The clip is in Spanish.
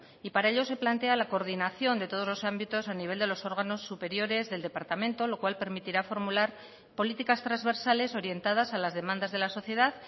y para ello se plantea la coordinación de todos los ámbitos a nivel de los órganos superiores del departamento lo cual permitirá formular políticas transversales orientadas a las demandas de la sociedad